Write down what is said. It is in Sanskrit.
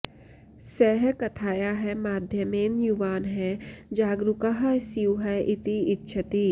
सः कथायाः माध्यमेन युवानः जागरूकाः स्युः इति इच्छति